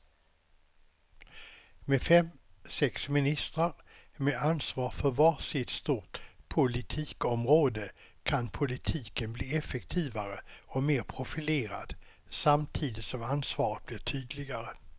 Med fem, sex ministrar med ansvar för var sitt stort politikområde kan politiken bli effektivare och mer profilerad samtidigt som ansvaret blir tydligare.